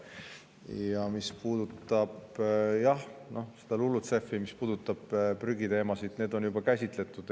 Ja mis puudutab seda LULUCF-i ja prügiteemasid, siis need on juba käsitletud.